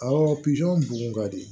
Awɔ bugun ka di